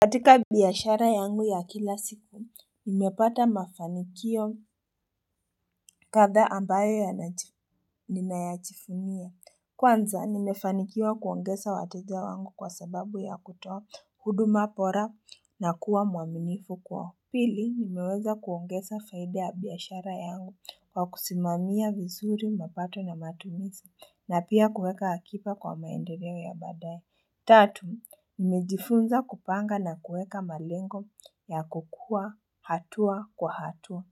Katika biashara yangu ya kila siku nimepata mafanikio kadhaa ambayo yanaji nin yachifunia Kwanza nimefanikiwa kuongesa wateja wangu kwa sababu ya kutoa huduma bora na kuwa mwaminifu kwao. Pili nimeweza kuongesa faida ya biashara yangu kwa kusimamia vizuri mapato na matumisi na pia kuweka akipa kwa maendereo ya baadaye Tatu, mimejifunza kupanga na kueka malengo ya kukua hatua kwa hatua.